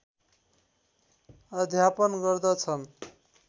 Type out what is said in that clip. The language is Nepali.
अध्यापन गर्दछन्